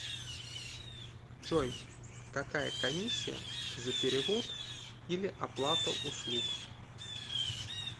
джой какая комиссия за перевод или оплата услуг